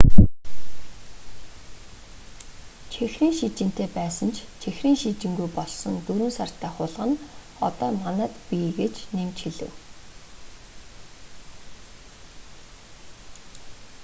чихрийн шижинтэй байсан ч чихрийн шижингүй болсон 4 сартай хулгана одоо манайд бий гэж тэр нэмж хэлэв